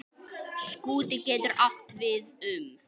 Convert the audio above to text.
Skúti getur átt við um